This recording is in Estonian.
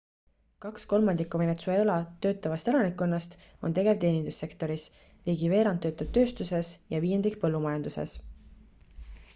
kaks kolmandikku venezuela töötavast elanikkonnast on tegev teenindussektoris ligi veerand töötab tööstuses ja viiendik põllumajanduses